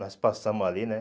Nós passamos ali, né?